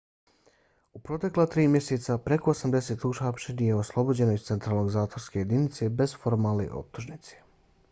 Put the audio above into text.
u protekla 3 mjeseca preko 80 uhapšenih je oslobođeno iz centralne zatvorske jedinice bez formalne optužnice